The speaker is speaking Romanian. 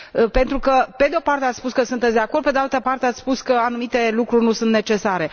Pentru că, pe de o parte, ați spus că sunteți de acord, pe de altă parte, ați spus că anumite lucruri nu sunt necesare.